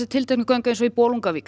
tiltekin göng eins og í Bolungarvík